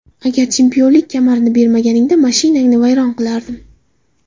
Agar chempionlik kamarini bermaganingda, mashinangni vayron qilardim.